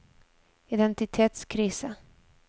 identitetskrise